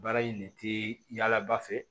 Baara in de tɛ yala ba fɛ